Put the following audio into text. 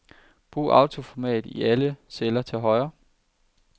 Brug autoformat i alle celler til højre.